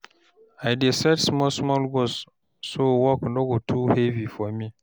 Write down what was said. I dey set small small goals so work no go too heavy for me.